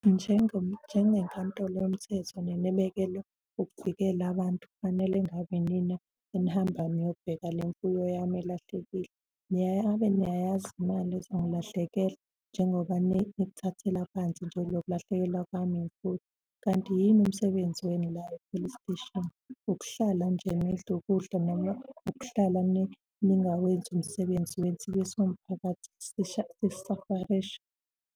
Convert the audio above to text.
Njengenkantolo yomthetho, nanibekelwe ukuvikela abantu fanele engabi inina enihambayo niyobheka le mfuyo yami elahlekile. Ngabe niyayazi imali ezongilahlekela njengoba nikuthathela phansi nje lokulahlekelwa kwami imfuyo? Kanti yini umsebenzi wenu la e-police station? Ukuhlala nje nidle ukudla noma ukuhlala ningawenzi umsebenzi wenu sibe siwumphakathi sisafarisha.